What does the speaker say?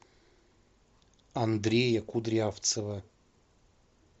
андрея кудрявцева